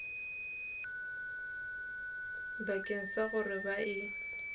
bakeng sa gore ba e